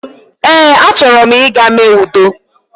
Ee a chọrọ m ịga mee udo